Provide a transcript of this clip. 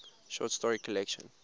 short story collection